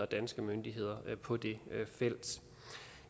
danske myndigheder på det felt